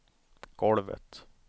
golvet